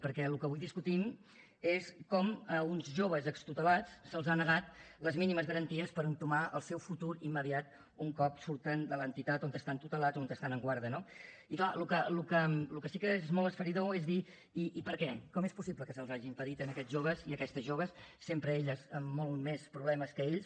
perquè el que avui discutim és com a uns joves extutelats se’ls han negat les mínimes garanties per entomar el seu futur immediat un cop surten de l’entitat on estan tutelats o on estan en guàrdia no i clar el que sí que és molt esfereïdor és dir i per què com és possible que se’ls hagi impedit a aquests joves i a aquestes joves sempre elles amb molts més problemes que ells